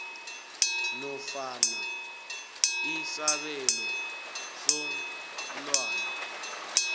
nofana isabelo somntwana